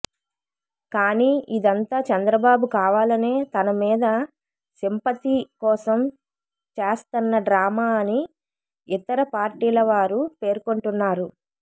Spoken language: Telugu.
కానీ ఇదంతా చంద్రబాబు కావాలనే తన మీద సింపథీ కోసం చేస్తన్న డ్రామా అని ఇతర పార్టీల వారు పేర్కొంటున్నారు